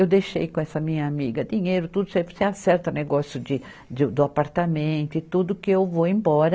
Eu deixei com essa minha amiga dinheiro, tudo certo, você acerta negócio de, de, do apartamento e tudo que eu vou embora.